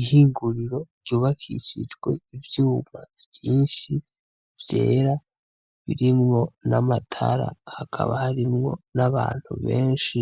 Ihinguriro ryubakishijwe ivyuma vyinshi vyera birimwo n'amatara hakaba harimwo n'abantu benshi.